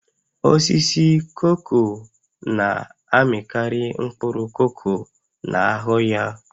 Osisi koko na-amịkarị mkpụrụ koko na-ahụ ya